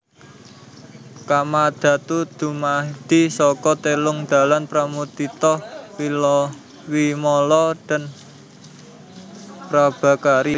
Kamadhatu dumadi saka telung dalan Pramudita Vimala dan Prabhakari